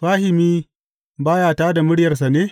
Fahimi ba ya tā da muryarsa ne?